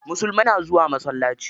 Musulmai na zuwa masallaci.